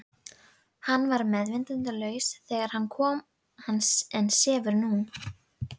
Hann var meðvitundarlaus þegar hann kom en sefur núna.